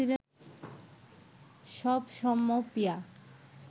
সব সমপিয়া